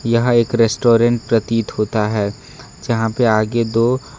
यहां एक रेस्टोरेंट प्रतीत होता है जहां पे आगे दो--